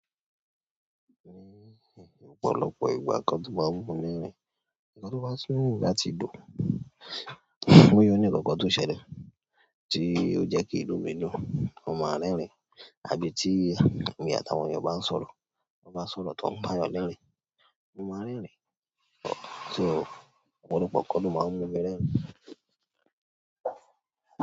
Ní ọ̀pọ̀lọpọ̀ ìgbà kan tó bá ń wù mi rẹ́rìn. Nǹkan to bá sún nígbà tí ó dùn, ó yóò ní kọ̀tọ́ ṣẹlẹ̀ tí ó jẹ́ kí inú mi dùn, mo máa rẹ́rìn. Àbí tí èmi àtàwọn yọ ba ń sọ̀rọ̀, wọ́n bá sọ̀rọ̀ tọ́ ọmọ, yọ lẹ́rìn, mo máa lẹ́rìn. Ọ̀pọ̀lọpọ̀ nǹkan ló máa ń mú mi rẹ́rìn.